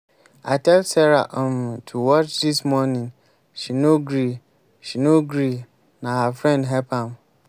i tell sara um to watch dis morning she no gree she no gree na her friend help am.